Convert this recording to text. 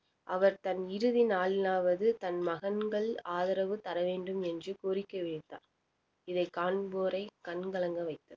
அவர் தன் இறுதி நாளிலாவது தன் மகன்கள் ஆதரவு தர வேண்டும் என்று கோரிக்கை வைத்தார் இதை காண்போரை கண் கலங்க வைத்தது